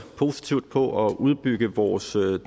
positivt på at udbygge vores